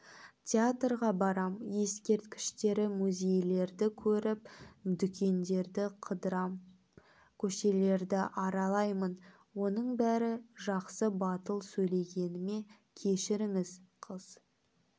театрға барам ескерткіштері музейлерді көрем дүкендерді қыдырам көшелерді аралаймын оның бәрі жақсы батыл сөйлегеніме кешіріңіз қыз